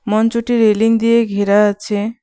মঞ্চটি রেলিং দিয়ে ঘেরা আছে।